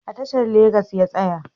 A tashar Legas ya tsaya